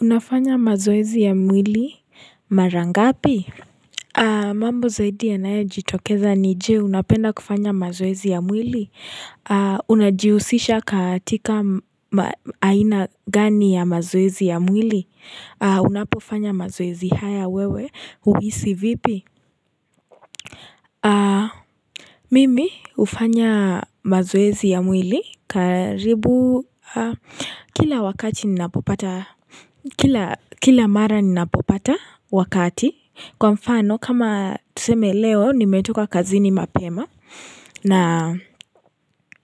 Unafanya mazoezi ya mwili mara ngapi? Mambo zaidi yanayejitokeza ni je, unapenda kufanya mazoezi ya mwili? Unajihusisha katika aina gani ya mazoezi ya mwili? Unapofanya mazoezi haya wewe huhisi vipi? Mimi hufanya mazoezi ya mwili karibu kila wakati ninapopata. Kila mara ninapopata wakati. Kwa mfano, kama tuseme leo, nimetoka kazini mapema na